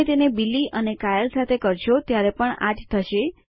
તમે તેને બિલી અને કાયલ સાથે કરશો ત્યારે પણ આ જ થશે